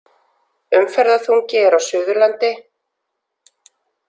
Umferðarþungi er á Suðurlandi